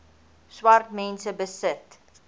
swart mense besit